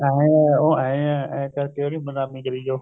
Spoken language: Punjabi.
ਐਂ ਆ ਉਹ ਐਂ ਆ ਇਹ ਕਰਕੇ ਉਹਦੀ ਬਦਨਾਮੀ ਕਰੀ ਜਾਓ